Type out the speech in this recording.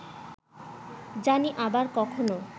জানি আবার কখনো